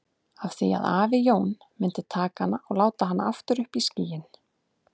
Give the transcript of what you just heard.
Af því að afi Jón myndi taka hana og láta hana aftur upp í skýin.